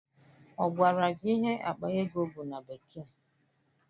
Ọ gwara gị ihe akpa ego bụ na bekee?